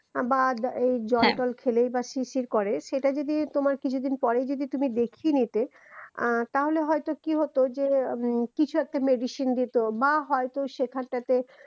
বাদ জয়ফল খেলেই বা শিরশির করে সেটা যদি তোমার কিছুদিন পরেই তুমি দেখিয়ে নিতে আহ তাহলে হয়তো কি হতো যে উম কিছু একটা medicine দিত বা হয়তো সেখানটাতে